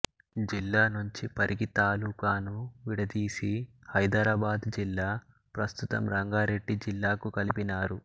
జిల్లానుంచి పరిగి తాలుకాను విడదీసి హైదరాబాదు జిల్లా ప్రస్తుతం రంగారెడ్డి జిల్లాకు కలిపినారు